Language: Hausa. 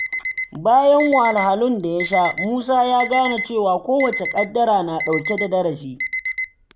Bayan wahalhalun da ya sha, Musa ya gane cewa kowace ƙaddara na ɗauke da darasi.